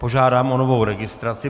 Požádám o novou registraci.